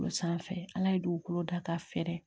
O sanfɛ ala ye dugukolo da ka fɛrɛ